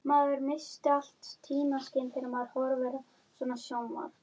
Getum við farið núna?